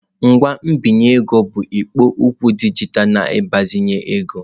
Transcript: Ngwa mbinye ego bụ ikpo okwu dijitalụ na-agbazinye ego.